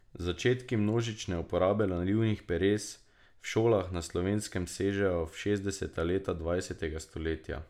Začetki množične uporabe nalivnih peres v šolah na Slovenskem sežejo v šestdeseta leta dvajsetega stoletja.